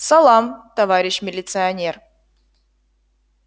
салам товарищ милиционер